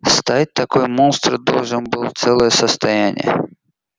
стоить такой монстр должен был целое состояние